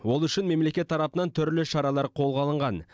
ол үшін мемлекет тарапынан түрлі шаралар қолға алынған